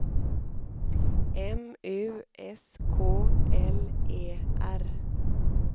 M U S K L E R